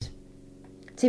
TV 2